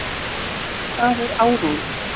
Hvað er áróður?